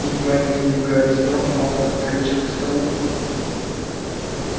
едва не сбив гарри с ног малфой подскочил к столу